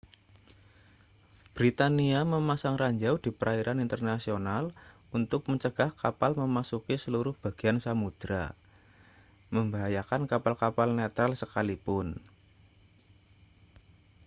britania memasang ranjau di perairan internasional untuk mencegah kapal memasuki seluruh bagian samudera membahayakan kapal-kapal netral sekalipun